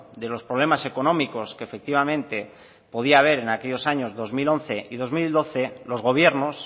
de los problemas económicos que efectivamente podía haber en aquellos años dos mil once y dos mil doce los gobiernos